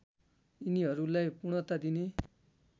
यिनीहरूलाई पूर्णता दिने